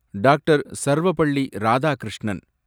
Doctor. Sarvepalli Radhakrishnan